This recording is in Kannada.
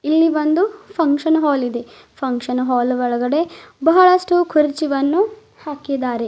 ಇಲ್ಲಿ ಒಂದು ಫಂಕ್ಷನ್ ಹಾಲ್ ಇದೆ ಫಂಕ್ಷನ್ ಹಾಲ್ ಒಳಗಡೆ ಬಹಳಷ್ಟು ಕುರ್ಚಿವನ್ನು ಹಾಕಿದ್ದಾರೆ.